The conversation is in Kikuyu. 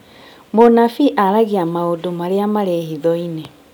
Mũnabii aragĩa maũndũ marĩa marĩ hitho-inĩ